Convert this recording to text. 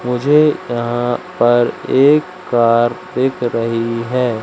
मुझे यहां पर एक कार दिख रही है।